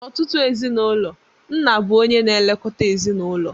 N'ọtụtụ ezinụlọ, nna bụ onye na-elekọta ezinụlọ